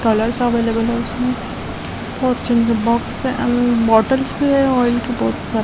Colours available हैं इसमें और जो ये बॉक्स है एन बॉटल्स भी हैं ऑयल की बहौत सारी।